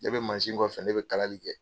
Ne be kɔfɛ , ne be kalali kɛ.